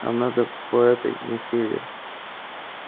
нам надо по этой на север